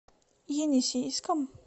енисейском